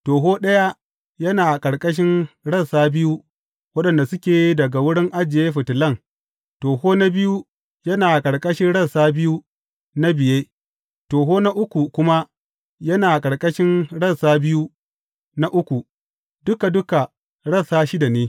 Toho ɗaya yana a ƙarƙashin rassa biyu waɗanda suke daga wurin ajiye fitilan, toho na biyu yana a ƙarƙashin rassa biyu na biye, toho na uku kuma yana a ƙarƙashin rassa biyu na uku, duka duka rassa shida ne.